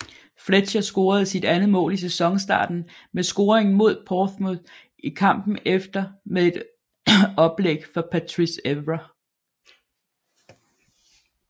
Fletcher scorede sit andet mål i sæsonstarten med scoringen mod Portsmouth i kampen efter med et oplæg fra Patrice Evra